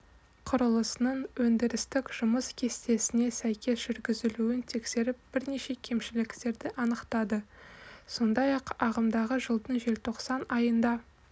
құрылысының өндірістік жұмыс кестесіне сәйкес жүргізілуін тексеріп бірнеше кемшіліктерді анықтады сондай-ақ ағымдағы жылдың желтоқсан айында